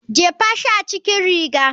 Jefa yashi a cikin riga.